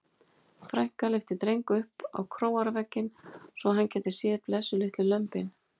Frænka lyfti Dreng upp á króarvegginn svo hann gæti séð blessuð litlu lömbin.